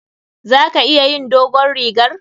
Za ka iya yin dogon rigar?